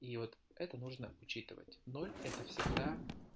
и вот это нужно учитывать ноль это всегда